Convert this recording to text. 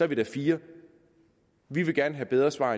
vi da fire vi vil gerne have bedre svar